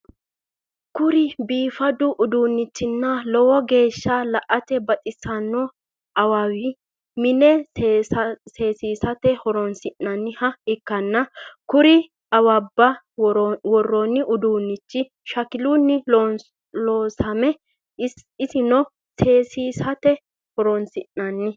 Kuri biifadu udunnichinna lowo geeshsa la"ate baxissanno awawi mine seesisate horonsi'nanniha ikkanna kuri awabba worronni uduunnichino shakilunni loosame isono seesisate horonsi'nanni.